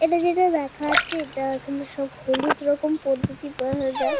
এটা যেটা দেখা যাচ্ছে এটা এখানে সব হলুদ রকম পদ্ধতি পাওয়া যায়।